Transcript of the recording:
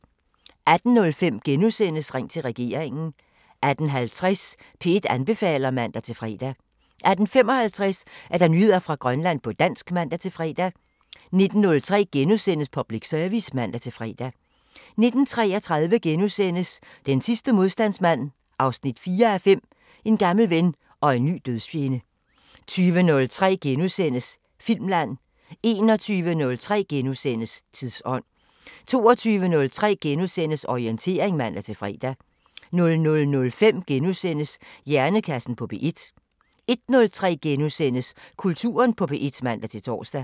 18:05: Ring til regeringen * 18:50: P1 anbefaler (man-fre) 18:55: Nyheder fra Grønland på dansk (man-fre) 19:03: Public Service *(man-fre) 19:33: Den sidste modstandsmand 4:5 – En gammel ven og en ny dødsfjende * 20:03: Filmland * 21:03: Tidsånd * 22:03: Orientering *(man-fre) 00:05: Hjernekassen på P1 * 01:03: Kulturen på P1 *(man-tor)